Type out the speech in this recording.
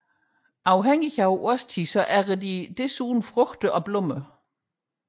Afhængig af årstiden æder de desuden frugt og blomster